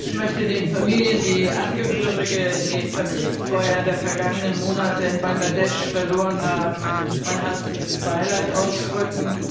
Ich möchte den Familien, die Angehörige in den Fabrikfeuern der vergangenen Monate in Bangladesch verloren haben, mein herzliches Beileid ausdrücken.